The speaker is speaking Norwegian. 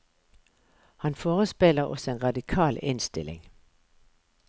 Han forespeiler oss en radikal innstilling.